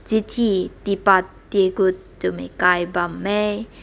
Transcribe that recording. chiti tipat tigut du b kai bam meh.